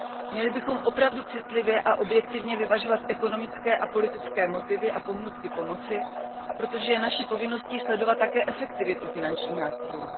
Měli bychom opravdu citlivě a objektivně vyvažovat ekonomické a politické motivy a pohnutky pomoci, protože je naší povinností sledovat také efektivitu finančních nástrojů.